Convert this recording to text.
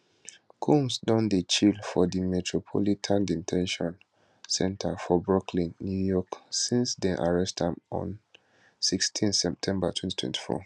combs don dey chill for di metropolitan de ten tion center for brooklyn new york since dem arrest am on 16 september 2024